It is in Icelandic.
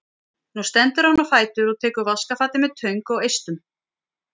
Nú stendur hann á fætur og tekur vaskafatið með töng og eistum.